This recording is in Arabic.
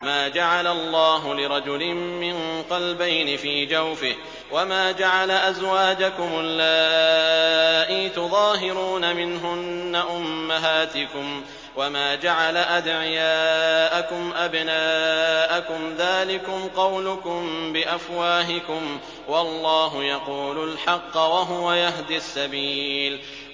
مَّا جَعَلَ اللَّهُ لِرَجُلٍ مِّن قَلْبَيْنِ فِي جَوْفِهِ ۚ وَمَا جَعَلَ أَزْوَاجَكُمُ اللَّائِي تُظَاهِرُونَ مِنْهُنَّ أُمَّهَاتِكُمْ ۚ وَمَا جَعَلَ أَدْعِيَاءَكُمْ أَبْنَاءَكُمْ ۚ ذَٰلِكُمْ قَوْلُكُم بِأَفْوَاهِكُمْ ۖ وَاللَّهُ يَقُولُ الْحَقَّ وَهُوَ يَهْدِي السَّبِيلَ